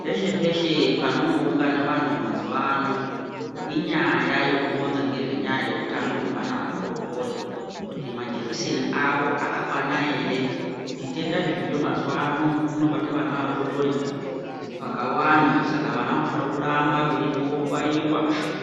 Peshe peshe panongoungana vantu mazuwa ano inyaya yekuronza ngezvenyaya yeutano hwevana vadodori. Kuti majekiseni avo akwakwana ere, zvitenda zviriyo mazuwa ano zvinobata ana adodori vakawanda, saka vana vanofanira kuramba veienda kobaiwa